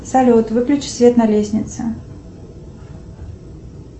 салют выключи свет на лестнице